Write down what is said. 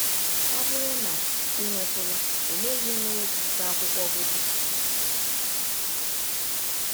Ọ bụrụ na i nwetụla, ọlee ihe mere ka ike akwụkwọ gwụ gị?